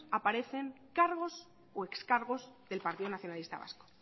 aparecen cargos o excargos del partido nacionalista vasco